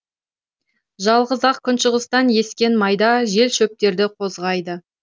жалғыз ақ күншығыстан ескен майда жел шөптерді қозғайды